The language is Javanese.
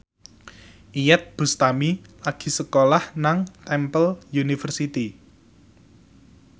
Iyeth Bustami lagi sekolah nang Temple University